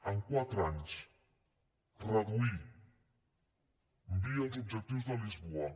en quatre anys reduir via els objectius de lisboa